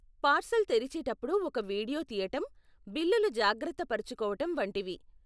Parcel తెరిచేటప్పుడు ఒక video తీయటం, బిల్లులు జాగ్రత్త పరుచుకోవటం వంటివి.